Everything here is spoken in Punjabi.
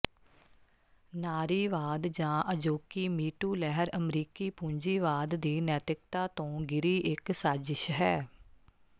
ਨਾਰੀਵਾਦ ਜਾਂ ਅਜੋਕੀ ਮੀਟੂ ਲਹਿਰ ਅਮਰੀਕੀ ਪੂੰਜੀਵਾਦ ਦੀ ਨੈਤਿਕਤਾ ਤੋਂ ਗਿਰੀ ਇੱਕ ਸਾਜਿਸ਼ ਹੈ